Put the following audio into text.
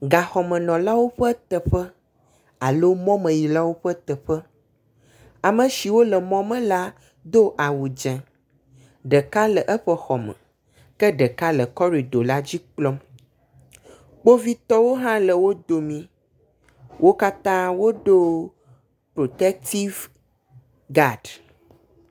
Gaxɔmenɔlawo ƒe teƒe alo mɔmeyilawo ƒe teƒe. ame siwo le mɔ me la do awu dze. Ɖeka le eƒe xɔ me ke ɖeka le kɔridɔ la dzi kplɔm. kpovitɔwo hã le wo dome. Wo katã wodo protetiv gadi.